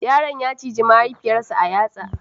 Yaron ya ciji mahaifiyar sa a yatsa